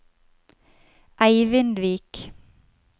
Eivindvik